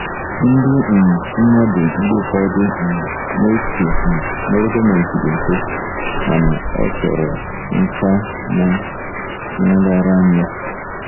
Ndị um mmadụ mgbe ụfọdụ um na-eche um na ọrụ gọọmentị dị mfe, mana ọ chọrọ nkà na nraranye.